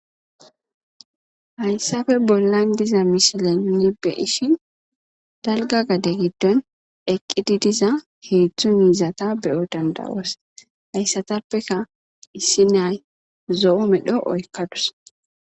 hayssafe bollan diza mishile milbe ishi dalga gade giddon eqqidi diza heetztzu miizata beyo dandawoos hayssatappeka issi nay zo7o medho oykkadus